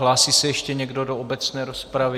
Hlásí se ještě někdo do obecné rozpravy?